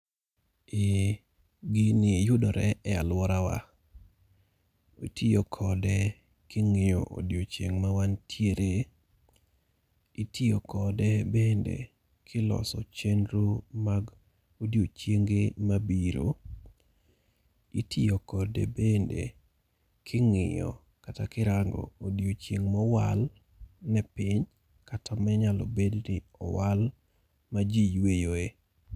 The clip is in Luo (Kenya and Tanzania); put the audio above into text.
Ee gini yudore e alworawa. Itiyo kode king'iyo odiechieng' ma wantiere. Itiyo kode bende ka iloso chenro mag odiechienge mabiro. Itiyo kode bende king'iyo kata kirango odiechieng' ma owal ne pinya kata ma inyalo bed ni owal ma ji yweyoe.